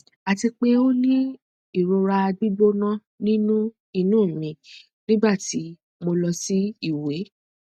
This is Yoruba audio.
ati pe o ni irora gbigbona ninu inu mi nigbati mo lọ si iwẹ